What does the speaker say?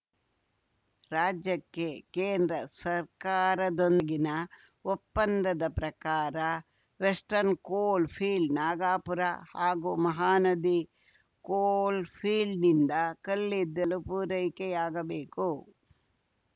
ರಾಜ್ಯಕ್ಕೆ ಕೇಂದ್ರ ಸರ್ಕಾರದೊಂದಿಗಿನ ಒಪ್ಪಂದದ ಪ್ರಕಾರ ವೆಸ್ಟರ್ನ್‌ ಕೋಲ್‌ ಫೀಲ್ಡ್‌ ನಾಗಪುರ ಹಾಗೂ ಮಹಾನದಿ ಕೋಲ್‌ಫೀಲ್ಡ್‌ನಿಂದ ಕಲ್ಲಿದ್ದಲು ಪೂರೈಕೆಯಾಗಬೇಕು